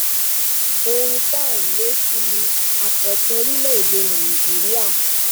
ohun tá à ń lé sí ni àkọtun orílẹèdè nàìjíríà